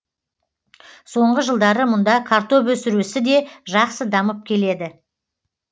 соңғы жылдары мұнда картоп өсіру ісі де жақсы дамып келеді